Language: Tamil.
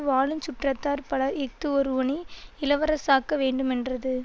வாழுஞ் சுற்றத்தார் பலர் இஃது ஒருவனை இளவரசாக்க வேண்டுமென்றது